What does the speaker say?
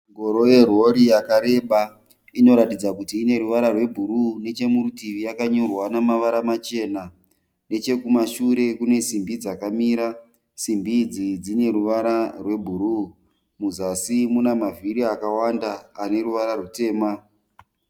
Ngoro yerori yakareba inoratidza kuti ine ruvara rwebruu nechemurutivi nemavara machena nechekumasure kune simbi dzakamira simbi idzi dzine ruvara rwebruu muzasi muna mavhiri akawanda ane ruvara rutema.